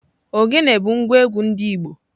Ogene bu ngwa egwu ndi igbo.